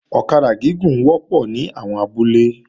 Ọ̀kadà gúgùn wọ́pọ̀ ní àwọn abúlé